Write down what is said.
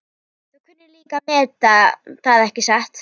Þú kunnir líka að meta það, ekki satt?